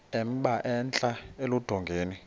emba entla eludongeni